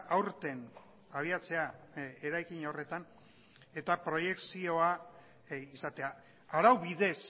aurten abiatzea eraikin horretan eta proiekzioa izatea arau bidez